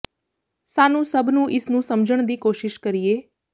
ਸਾਨੂੰ ਸਭ ਨੂੰ ਇਸ ਨੂੰ ਸਮਝਣ ਦੀ ਕੋਸ਼ਿਸ਼ ਕਰੀਏ